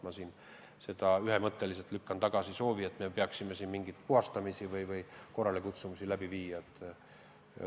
Ma lükkan ühemõtteliselt tagasi soovi, et me peaksime siin mingeid puhastamisi või korralekutsumisi läbi viima.